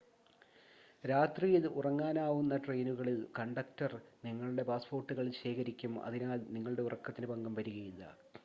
രാത്രിയിൽ ഉറങ്ങാനാവുന്ന ട്രെയിനുകളിൽ കണ്ടക്ടർ നിങ്ങളുടെ പാസ്പോർട്ടുകൾ ശേഖരിക്കും അതിനാൽ നിങ്ങളുടെ ഉറക്കത്തിന് ഭംഗം വരികയില്ല